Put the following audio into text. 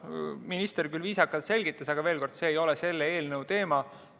Minister küll viisakalt selgitas, aga veel kord: see ei ole selle eelnõu teema.